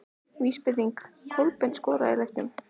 Vísbending: Kolbeinn skoraði í leiknum?